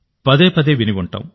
పదే పదే విని ఉంటాం